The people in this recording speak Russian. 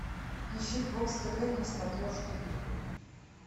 ищи бокс тв на смотрешке